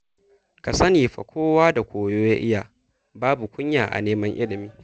Ka sani fa kowa da koyo ya iya, babu kunya a neman ilimi.